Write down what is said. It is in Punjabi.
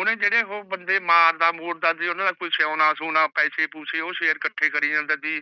ਓਹਨੇ ਜੇੜੇ ਓਹ ਬੰਦੇ ਮਾਰਦਾ ਮੁਰਦਾ ਜੇ ਓਹਨਾ ਦਾ ਸੋਨਾ ਸੁਣਾ ਪੈਸੇ ਪੁਸੇ ਉਹ ਸ਼ੇਰ ਕੱਠੇ ਕਰੀ ਜਾਂਦਾ ਸੀ